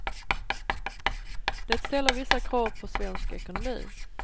Det ställer vissa krav på svensk ekonomi.